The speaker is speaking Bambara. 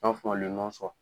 An b'a f'a ma le nɔn sowa